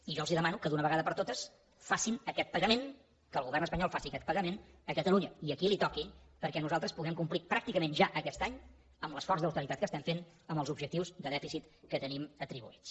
i jo els demano que d’una vegada per totes facin aquest pagament que el govern espanyol faci aquest pagament a catalunya i a qui li toqui perquè nosaltres puguem complir pràcticament ja aquest any amb l’esforç d’austeritat que estem fent amb els objectius de dèficit que tenim atribuïts